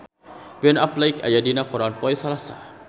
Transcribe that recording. Ben Affleck aya dina koran poe Salasa